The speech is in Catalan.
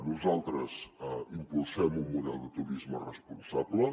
nosaltres impulsem un model de turisme responsable